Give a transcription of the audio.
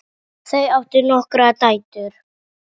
Þau áttu nokkrar dætur.